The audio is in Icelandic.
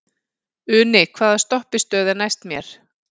Uni, hvaða stoppistöð er næst mér?